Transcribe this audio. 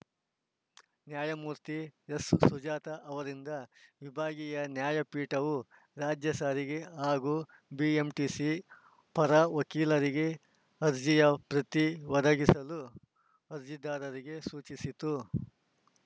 ನ್ಯಾಯಮೂರ್ತಿ ಎಸ್‌ಸುಜಾತ ಅವರಿದ್ದ ವಿಭಾಗೀಯ ನ್ಯಾಯಪೀಠವು ರಾಜ್ಯ ಸಾರಿಗೆ ಹಾಗೂ ಬಿಎಂಟಿಸಿ ಪರ ವಕೀಲರಿಗೆ ಅರ್ಜಿಯ ಪ್ರತಿ ಒದಗಿಸಲು ಅರ್ಜಿದಾರರಿಗೆ ಸೂಚಿಸಿತು